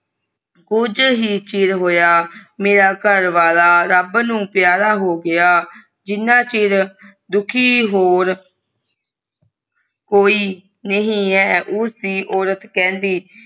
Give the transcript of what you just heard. ਕੁਜ ਹੀ ਚਿਰ ਹੋਇਆ ਮੇਰਾ ਘਰਵਾਲ਼ਾ ਰੱਬ ਨੂੰ ਪਯਾਰਾ ਹੋ ਗਯਾ ਜਿੰਨਾ ਚਿਰ ਦੁਖੀ ਹੋਰੁ ਕੋਈ ਨਹੀਂ ਹੈ ਉਸ ਦੀ ਔਰਤ ਕਹਿੰਦੀ